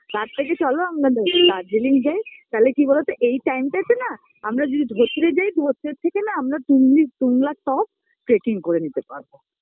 তার থেকে চলো আমরা ড দার্জিলিং যাই, তালে কি বলতো এই Time -টাতে না আমরা যদি ধত্রে যাই, ধত্রের থেকে না আমরা টুংলি তুংলা টপ Tracking করে নিতে পারব